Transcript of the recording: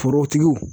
Forotigiw